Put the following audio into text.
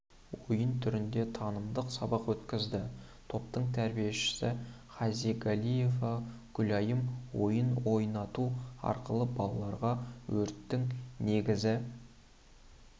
ойын түрінде танымдық сабақ өткізді топтың тәрбиешісі хизагалиева гүлайым ойын ойнату арқылы балаларға өрттің негізгі